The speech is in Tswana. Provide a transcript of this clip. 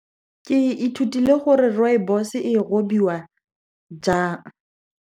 Ke ithutile gore rooibos-e e robiwa jang.